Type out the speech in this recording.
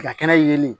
Ka kɛnɛ yeelen